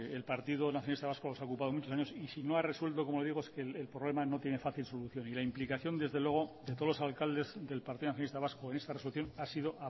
el partido nacionalista vasco se ha ocupado muchos años y si no ha resuelto como digo es que el problema no tiene fácil solución y la implicación desde luego de todos los alcaldes del partido nacionalista vasco en esta resolución ha sido